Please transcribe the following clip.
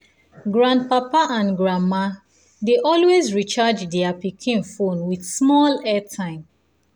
grandpapa and grandma dey always recharge their recharge their pikin phone with small airtime